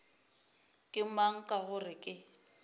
ke mang ka gore ke